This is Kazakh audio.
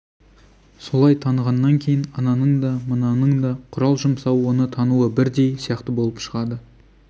солай танығаннан кейін ананың да мынаның да құрал жұмсауы оны тануы бірдей сияқты болып шығады